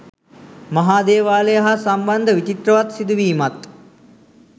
මහා දේවාලය හා සම්බන්ධ විචිත්‍රවත් සිදුවීමත්